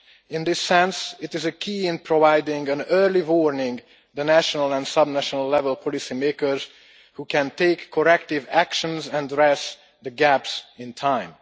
In this sense it is a key to providing an early warning for the national and sub national level policymakers which can take corrective actions and address the gaps in time.